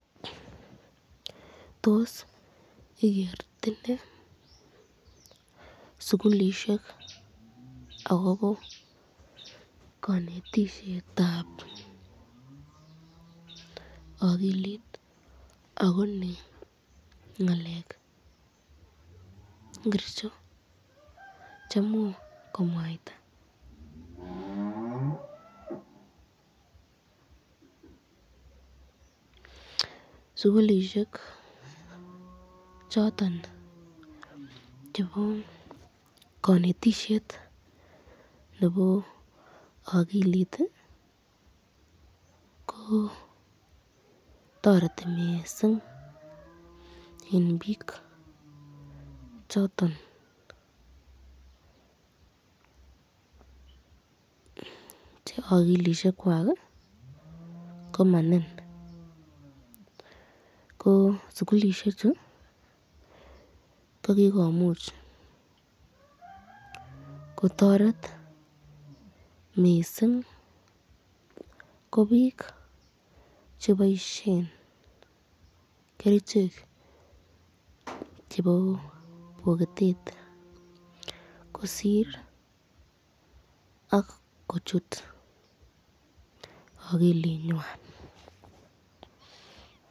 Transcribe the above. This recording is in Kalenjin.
Tos igetine sukulishek akobo kanetishetab akilit, akonai ngalekab bgircho c